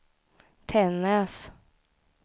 Tännäs